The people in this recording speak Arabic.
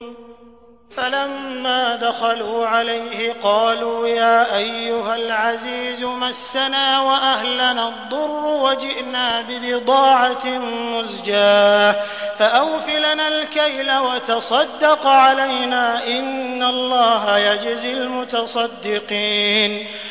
فَلَمَّا دَخَلُوا عَلَيْهِ قَالُوا يَا أَيُّهَا الْعَزِيزُ مَسَّنَا وَأَهْلَنَا الضُّرُّ وَجِئْنَا بِبِضَاعَةٍ مُّزْجَاةٍ فَأَوْفِ لَنَا الْكَيْلَ وَتَصَدَّقْ عَلَيْنَا ۖ إِنَّ اللَّهَ يَجْزِي الْمُتَصَدِّقِينَ